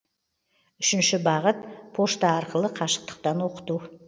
үшінші бағыт пошта арқылы қашықтықтан оқыту